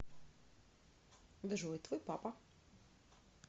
джой твой папа